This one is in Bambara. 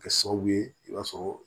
Kɛ sababu ye i b'a sɔrɔ